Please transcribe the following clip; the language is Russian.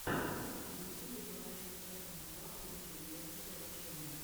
в ютюбе покажи эдванс клаб лучшие техники обучения